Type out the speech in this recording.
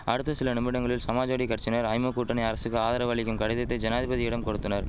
அடுத்த சில நிமிடங்களில் சமாஜ்வாடி கட்சியினர் ஐமு கூட்டணி அரசுக்கு ஆதரவு அளிக்கும் கடிதத்தை ஜனாதிபதியிடம் கொடுத்தனர்